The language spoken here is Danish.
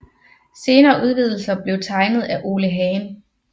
Senere udvidelser blev tegnet af Ole Hagen